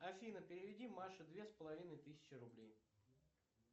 афина переведи маше две с половиной тысячи рублей